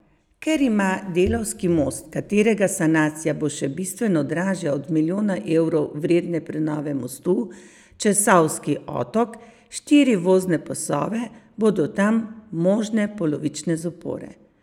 Ker ima Delavski most, katerega sanacija bo še bistveno dražja od milijona evrov vredne prenove mostu čez Savski otok, štiri vozne pasove, bodo tam možne polovične zapore.